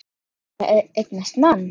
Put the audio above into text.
Ætlar að eignast mann.